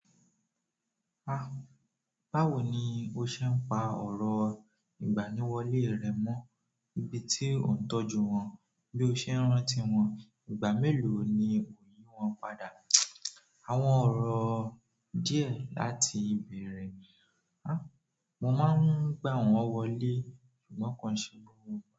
Ah! Báwo ni o ṣe ń pa ọ̀rọ̀ ìgbaniwọlé rẹ mọ́? Ibi tí o ń tọ́jú wọn bí o ṣe ń rántí wọn. Ìgbà mélòó ni òyi wọn padà? Àwọn oro díẹ̀ láti beere. Ah! Mo máa ń gbá wọn wọlé ṣùgbọ́n ko n ṣe gbo.